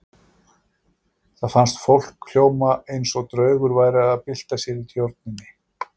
Það fannst fólki hljóma eins og draugur væri að bylta sér í tjörninni.